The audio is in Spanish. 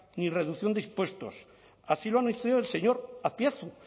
ni reducción de impuestos así lo ha el señor azpiazu